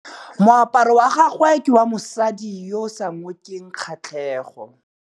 Moaparô wa gagwe ke wa mosadi yo o sa ngôkeng kgatlhegô.